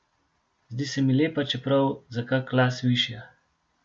Zdi se mi lepa, čeprav za kak las višja.